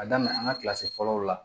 A daminɛ an ka kilasi fɔlɔ la